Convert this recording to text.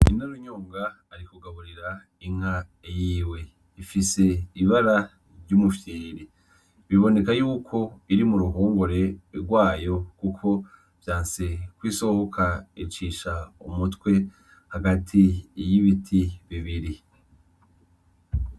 Nyinarunyonga ari kugaburira inka yiwe ifise ibara ry'umufyiri biboneka yuko iri mu ruhongore rwayo kuko vyanse kw’isohoka icisha umutwe hagati y'ibiti bibiri.